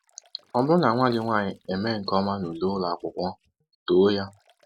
Ọ bụrụ na nwa gị nwaanyị emee nke ọma nule ụlọ akwụkwọ, too ya.